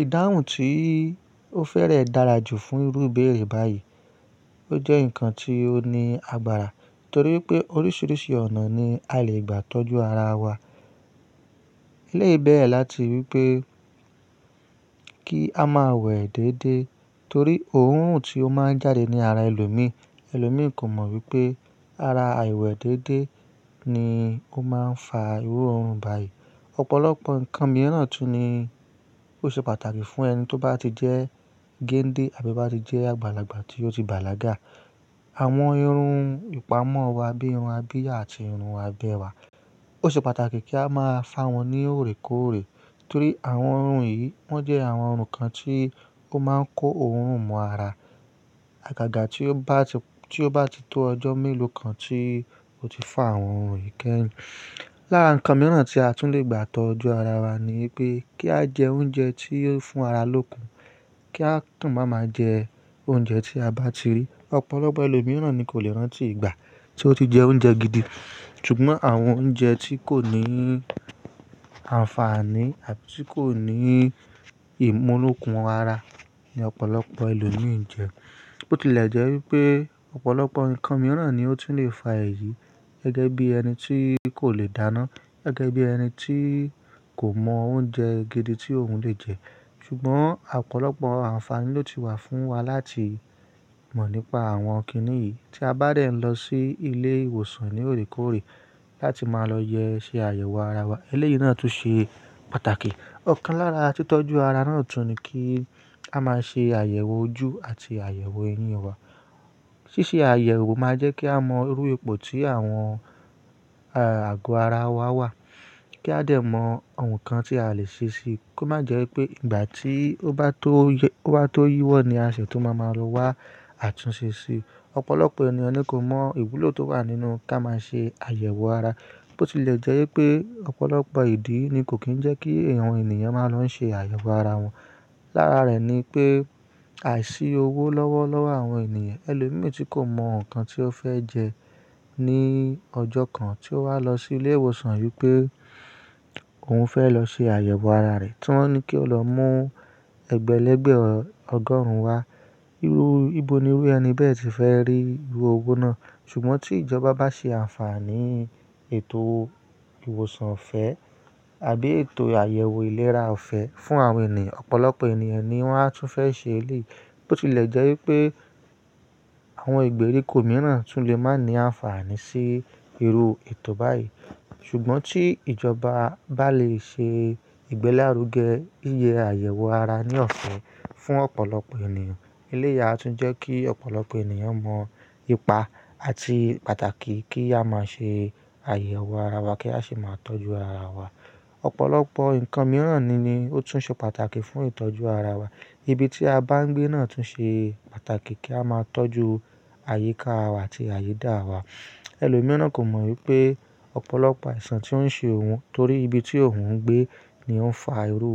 Ìdáhùn tí ó fẹ́rẹ̀ dára jù fún irú ìbéèrè báyìí. Ó jẹ́ ǹkan tí ó ní agbára torí pé oríṣiríṣi ọ̀nà ni a lè gbà tọ́jú ara wa. Ele beere láti wípé kí a máa wẹ̀ déédé torí òórùn tí ó máa ń jáde ní ara ẹlòmíràn. Ẹlòmí kò mọ̀ wípé ara àìwẹ̀ déédé ni ó máa ń fa irú òórùn báyìí. Ọ̀pọ̀lọpọ̀ ǹkan mìíràn tún ní ó ṣe pàtàkì fún ẹni tó bá ti jẹ́ gende àbí bá ti jẹ́ àgbàlagbà tí ó ti bàlágà. Àwọn irun ìpamọ́ wa bíi irun abìyá àti irun abẹ́ẹ́wà ó ṣe pàtàkì kí a máa fà wọ́n ní òrékọ́òrẹ́ torí àwọn irun yìí wọ́n jẹ́ àwọn irun kan tí ó máa ń kó òórùn mọ́ ara. Àgàgà tí ó bá ti tó ọjọ́ mélòó kan tí o ti fá àwọn irun yìí kẹ́yin. Lára ǹkan mìíràn tí a tún lè gbà tọ́jú ara wa ni pé kí á jẹ oúnjẹ tí yóò fún ara lókun. Kí a tún máa ma jẹ oúnjẹ tí a bá ti rí. Ọ̀pọ̀lọpọ̀ ẹlòmíràn ni kò lè rántí ìgbà tí wọ́n ti jẹ oúnjẹ gidi. Ṣùgbọ́n àwọn oúnjẹ tí kò ní àǹfààní àbí tí kò ní ìmú lókun ara ni Ọ̀pọ̀lọpọ̀ ẹlòmíi ń jẹ. Bó ti lẹ̀ jẹ́ wípé ọ̀pọ̀lọpọ̀ ǹkan mìíràn ni ó ti ń lè fa èyí gẹ́gẹ́ bí ẹni tí kò lè dáná, gẹ́gẹ́ bí ẹni tí kò mọ oúnjẹ gidi tí òun lè jẹ. Ṣùgbọ́n ọ̀pọ̀lọpọ̀ àǹfààní ló ti wà fún wa láti mọ̀ nípa àwọn kíní yìí tí a bá dẹ̀ ń lọ sí ilé ìwòsàn ní òrékọ́òrẹ́ láti máa lọ yẹ ṣe àyẹ̀wò ara wa. Ilé yìí náà tún ṣe pàtàkì. Ọ̀kan lára tí tọ́jú ara náà tún ni kí a máa ṣe àyẹ̀wò ojú àti àyẹ̀wò eyín wa. Ṣíṣe àyẹ̀wò máa jẹ́ kí a mọ irú epo tí àwọn àgò ara wa wà. Kí a lè mọ̀ ǹkan tí a lè ṣe ṣe kó má jẹ́ wípé ìgbà tí ó bá tó wá tó yíwọ́ ni aṣẹ̀ tó máa ma lọ wá àtúnṣe ṣe. Ọ̀pọ̀lọpọ̀ ènìyàn ni kò mọ ìwúlò tó wà nínú ká máa ṣe àyẹ̀wò ara. Bó ti lẹ̀ jẹ́ wípé ọ̀pọ̀lọpọ̀ ìdí ni kò kí ń jẹ́ kí àwọn ènìyàn máa lọ ṣe àyẹ̀wò ara wọn. Lára rẹ̀ ni pé àìsí owó lọ́wọ́ lọ́wọ́ àwọn ènìyàn. Ẹlòmíi tí kò mọ ǹkan tí ó fẹ́ jẹ ní ọjọ́ kan tí ó wá lọ sí ilé ìwòsàn wípé òun fẹ́ lọ ṣe àyẹ̀wò ara rẹ̀. Tí wọ́n ní kí o lọ mú ẹgbẹ̀lẹ́gbẹ̀ ọgọ́rùn ún wá, ìbò ni wí ẹni bẹ́ẹ̀ ti fẹ́ rí irú owó náà? Ṣùgbọ́n tí ìjọba bá ṣe àǹfààní ètò ìwòsàn ọ̀fẹ́ àbí ètò àyẹ̀wò ìlera ọ̀fẹ́ fún àwọn ènìyàn, ọ̀pọ̀lọpọ̀ ènìyàn ni wọ́n á tún fẹ́ ṣe eléyìí. Bó ti lẹ̀ jẹ́ wípé àwọn ìgbèríko mìíràn tún lè máa ní àǹfààní sí irú ètò báyìí. Ṣùgbọ́n tí ìjọba bá lè ṣe ìgbẹ́làrúgẹ yíyẹ àyẹ̀wò ara ní ọ̀fẹ́ fún ọ̀pọ̀lọpọ̀ ènìyàn, elé yìí a tún jẹ́ kí ọ̀pọ̀lọpọ̀ ènìyàn mọ̀ ipa àti pàtàkì kí a máa ṣe àyẹ̀wò ara wa kí a sì máa tọ́jú ara wa. Ọ̀pọ̀lọpọ̀ ǹkan mìíràn ni ó tún ṣe pàtàkì fún ìtọ́jú ara wa. Ibi tí a bá ń gbé náà tún ṣe pàtàkì kí a máa tọ́jú àyíká wa àti àyídá wa. Ẹlòmíràn kò mọ̀ wípé ọ̀pọ̀lọpọ̀ àìsàn tí ó ń ṣe òun torí ibi tí òun ń gbé ni ó ń fa irú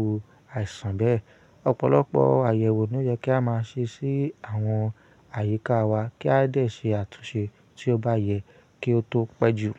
àìsàn bẹ́ẹ̀. Ọ̀pọ̀lọpọ̀ àyẹ̀wò ni ó yẹ kí a máa ṣe sí àwọn àyíká wa kí a lè ṣe àtúnṣe tí ó bá yẹ kí ó tó pẹ́ jù.